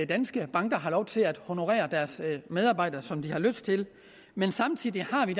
danske banker har lov til at honorere deres medarbejdere som de har lyst til men samtidig har vi